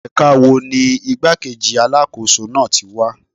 Ẹ̀ka wo ni igbá-kejì Alákóso náà tí wá?